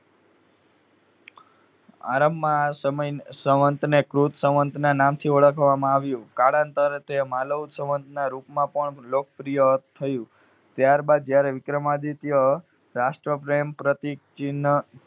આરંભમાં આ સમય~સંવંતને કૃત સંવંતના નામથી ઓળખવામાં આવ્યું. કાળાન્તરે તે માલવ સંવંતના રૂપમાં પણ લોકપ્રિય થયું. ત્યાર બાદ જયારે વિક્રમાદિત્ય રાષ્ટ્રપ્રેમ પ્રતિ ચિહ્ન